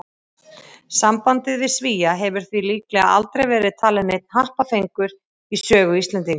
Sambandið við Svía hefur því líklega aldrei verið talinn neinn happafengur í sögu Íslendinga.